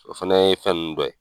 O fana ye fɛn nunnu dɔ ye.